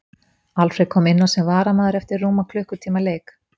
Alfreð kom inn á sem varamaður eftir rúman klukkutíma leik.